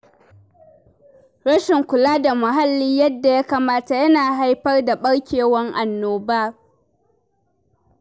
Rashin kula da muhalli yadda ya kamata yana haifar da ɓarkewar annoba.